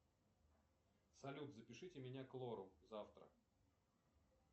салют запишите меня к лору завтра